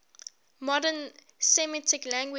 modern semitic languages